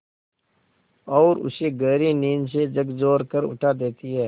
और उसे गहरी नींद से झकझोर कर उठा देती हैं